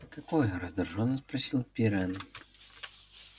какое раздражённо спросил пиренн